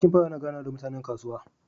Sarki pawa yana ganawa da mutanen kasuwa